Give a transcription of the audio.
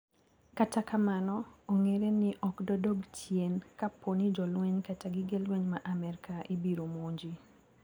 Kata kamano ong`ere ni okdodog chien kaponi jolweny kata gige lweny ma Amerka ibiro monji.